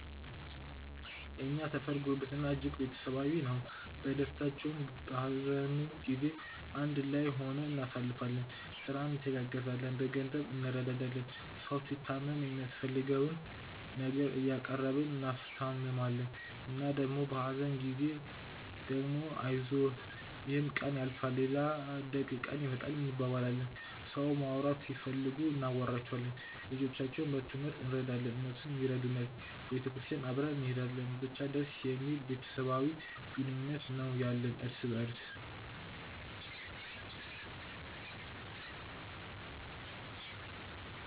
የእኛ ሰፈር ጉርብትና እጅግ ቤተሰባዊ ነው። በደስታውም በሀዘኑም ጊዜ አንድ ላይ ሆነን እናሳልፋለን። ስራ እንተጋገዛለን፣ በገንዘብ እንረዳዳለን። ሰው ሲታመም የሚያስፈልገውን ነገር እያቀረብን እናስታምማለን እና ደግሞ በሀዘን ጊዜ ደግሞ አይዞህ ይሕም ቀን ያልፋል ሌላ ደግ ቀን ይመጣል እንባባላለን። ሰው ማውራት ሲፈልጉ እናወራቸዋለን። ልጆቻቸውን በትሞህርት እረዳለን እነሱም ይረዱናል። ቤተክርስቲያን አብረን እንሔዳለን። ብቻ ደስ የሚል ቤተሰባዊ ግንኙነት ነው ያለን እርስ በርስ።